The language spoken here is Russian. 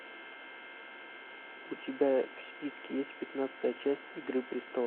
у тебя в списке есть пятнадцатая часть игры престолов